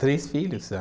Três filhos